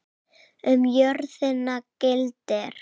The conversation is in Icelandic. Um jörðina gildir